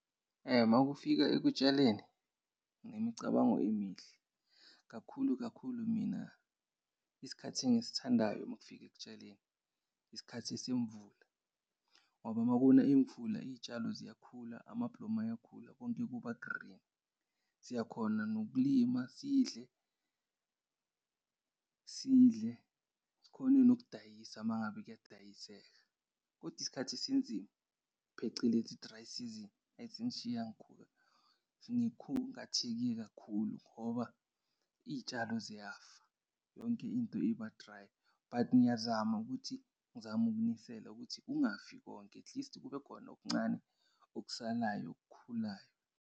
Makufika ekutshaleni, nginemicabango emihle. Kakhulu, kakhulu, mina isikhathi engisithandayo makufika ekutshaleni isikhathi esemvula ngoba makuna imvula, iy'tshalo ziyakhula, amablomo ayakhula, konke kuba-green. Siyakhona nokulima sidle, sidle, sikhone nokudayisa mangabe kuyadayiseka. Kodwa isikhathi esinzima phecelezi i-dry season, eyi zingishiya ngikhungatheke kakhulu ngoba iy'tshalo ziyafa yonke into iba-dry. But ngiyazama ukuthi ngizame ukunisela ukuthi kungafi konke. At least kube khona okuncane, okusalayo okukhulayo.